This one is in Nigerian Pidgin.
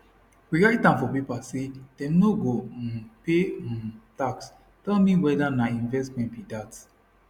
we write am for paper say dem no go um pay um tax tell me weda na investment be dat